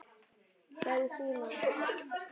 sagði Stína.